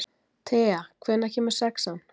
Thea, hvenær kemur sexan?